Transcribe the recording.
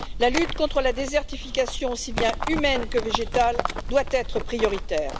La lutte contre la désertification, aussi bien humaine que végétale, doit être prioritaire.